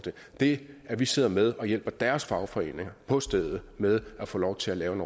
det at vi sidder med og hjælper deres fagforeninger på stedet med at få lov til at lave en